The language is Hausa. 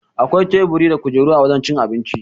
Akwai teburi da kujeru a wajan cin abinci